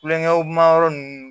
Kulonkɛ ma yɔrɔ ninnu